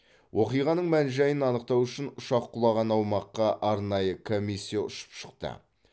оқиғаның мән жайын анықтау үшін ұшақ құлаған аумаққа арнайы комиссия ұшып шықты